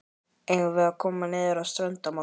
Eigum við að koma niður á strönd á morgun?